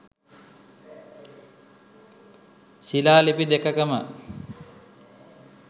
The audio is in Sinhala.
ශිලා ලිපි දෙකකම